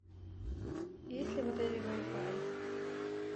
есть ли в отеле вай фай